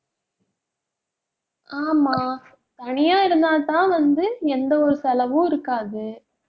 ஆமா தனியா இருந்தாத்தான் வந்து எந்த ஒரு செலவும் இருக்காது.